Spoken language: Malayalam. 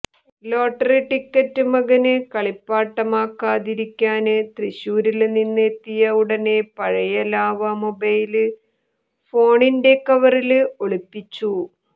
ലോട്ടറി ടിക്കറ്റ് മകന് കളിപ്പാട്ടമാക്കാതിരിക്കാന് തൃശൂരില് നിന്ന് എത്തിയ ഉടനെ പഴയ ലാവ മൊബൈല് ഫോണിന്റെ കവറില് ഒളിപ്പിച്ചു